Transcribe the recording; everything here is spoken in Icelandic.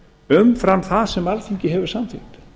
umfram það sem alþingi hefur samþykkt